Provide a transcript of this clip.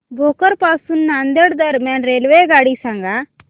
भोकर पासून नांदेड दरम्यान रेल्वेगाडी सांगा